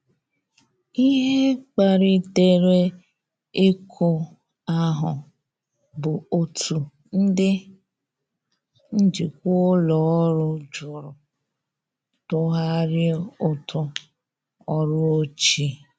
Ihe kpalitere iku ahu bụ otụ ndi njikwa ụlọ ọrụ jụrụ tughari ụtụ ọrụ ochie.